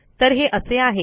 तर हे असे आहे